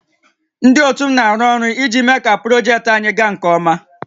Ndị ótù m na-arụ ọrụ iji méé kà projektị anyị gaa nkè ọma